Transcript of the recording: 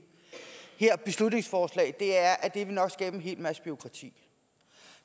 her beslutningsforslag at det nok vil skabe en hel masse bureaukrati